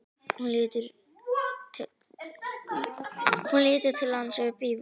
Hún lítur til hans upp úr bókinni.